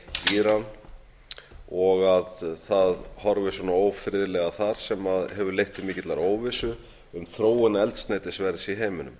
íran og að það horfir svona ófriðlega þar sem hefur leitt til mikillar óvissu um þróun eldsneytisverðs í heiminum